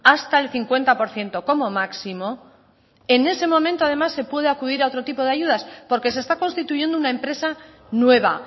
hasta el cincuenta por ciento como máximo en ese momento además se puede acudir a otro tipo de ayudas porque se está constituyendo una empresa nueva